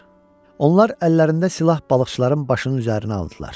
Onlar əllərində silah balıqçıların başının üzərinə aldılar.